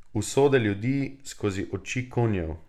Usode ljudi skozi oči konjev.